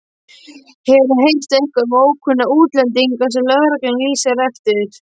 Hefurðu heyrt eitthvað um ókunnuga útlendinga sem lögreglan lýsir eftir?